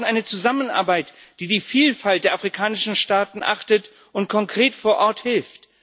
Wir brauchen eine Zusammenarbeit, die die Vielfalt der afrikanischen Staaten achtet und konkret vor Ort hilft.